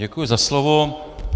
Děkuji za slovo.